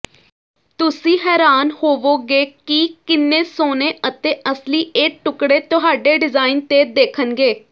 ਤੁਸੀਂ ਹੈਰਾਨ ਹੋਵੋਗੇ ਕਿ ਕਿੰਨੇ ਸੋਹਣੇ ਅਤੇ ਅਸਲੀ ਇਹ ਟੁਕੜੇ ਤੁਹਾਡੇ ਡਿਜ਼ਾਇਨ ਤੇ ਦੇਖਣਗੇ